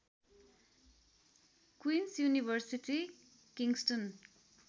queens University Kingston